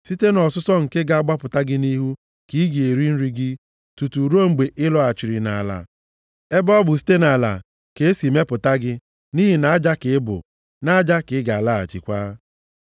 Site nʼọsụsọ nke ga-agbapụta gị nʼihu ka ị ga-eri nri gị tutu ruo mgbe ị lọghachiri nʼala ebe ọ bụ site nʼala ka e si mepụta gị nʼihi na aja ka ị bụ, nʼaja ka ị ga-alaghachikwa.”